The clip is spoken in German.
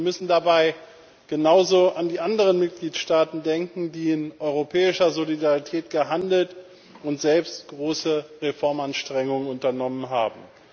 Wir müssen dabei genauso an die anderen Mitgliedstaaten denken, die in europäischer Solidarität gehandelt und selbst große Reformanstrengungen unternommen haben.